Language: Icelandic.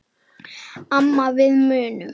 Amma við munum.